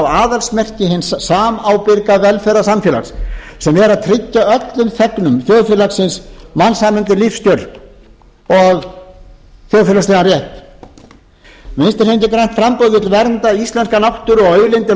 aðalsmerki hins samábyrga velferðarsamfélags sem er að tryggja öllum þegnum þjóðfélagsins mannsæmandi lífskjör og þjóðfélagslegan rétt vinstri hreyfingin grænt framboð vill vernda íslenska náttúru og auðlindir